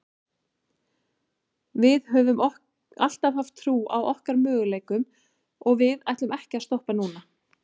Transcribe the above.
Við höfum alltaf haft trú á okkar möguleikum og við ætlum ekki að stoppa núna.